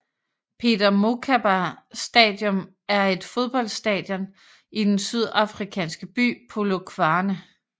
Peter Mokaba Stadium er et fodboldstadion i den sydafrikanske by Polokwane